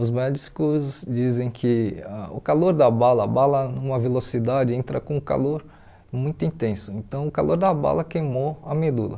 Os médicos dizem que ah o calor da bala, a bala numa velocidade entra com o calor muito intenso, então o calor da bala queimou a medula.